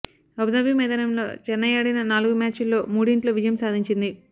Abu Dhabi మైదానంలో చెన్నై ఆడిన నాలుగు మ్యాచుల్లో మూడింట్లో విజయం సాధించింది